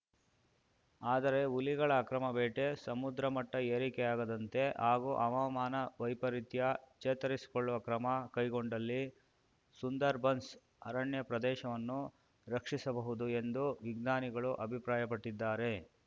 ಆದರೆ ಹುಲಿಗಳ ಅಕ್ರಮ ಬೇಟೆ ಸಮುದ್ರ ಮಟ್ಟಏರಿಕೆಯಾಗದಂತೆ ಹಾಗೂ ಹವಾಮಾನ ವೈಪರಿತ್ಯ ಚೇತರಿಸಿಕೊಳ್ಳುವ ಕ್ರಮ ಕೈಗೊಂಡಲ್ಲಿ ಸುಂದರ್‌ಬನ್ಸ್‌ ಅರಣ್ಯ ಪ್ರದೇಶವನ್ನು ರಕ್ಷಿಸಬಹುದು ಎಂದು ವಿಜ್ಞಾನಿಗಳು ಅಭಿಪ್ರಾಯಪಟ್ಟಿದ್ದಾರೆ